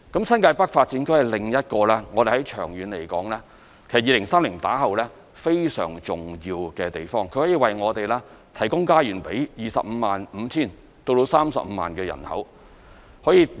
新界北發展區是另一個我們在長遠來說，在2030年後非常重要的地方，可以為我們提供家園予 255,000 至 350,000 人口。